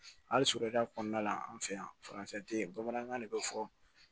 Hali sure kɔnɔna la an fɛ yan faransi tɛ yen bamanankan de bɛ fɔ